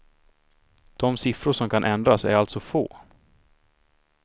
De siffror som kan ändras är alltså få.